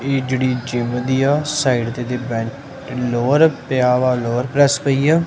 ਇਹ ਜਿਹੜੀ ਜਿਮ ਦੀਆ ਸਾਈਡ ਤੇ ਦੇ ਲੋਅਰ ਪਿਆ ਵਾ ਲੋਅਰ ਪ੍ਰੈਸ ਪਈ ਆ।